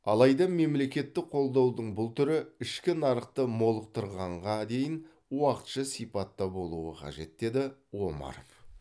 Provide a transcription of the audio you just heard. алайда мемлекеттік қолдаудың бұл түрі ішкі нарықты молықтырғанға дейін уақытша сипатта болуы қажет деді омаров